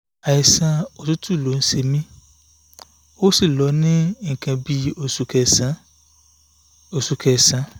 àìsàn òtútù ló ń ṣe mí ó sì lọ ní nǹkan bí oṣù kesan oṣù kesan